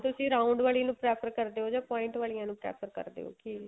ਤੁਸੀਂ round ਵਾਲੀ ਨੂੰ prefer ਕਰਦੇ ਓ ਜਾਂ point ਵਾਲਿਆ ਨੂੰ prefer ਕਰਦੇ ਓ ਕੀ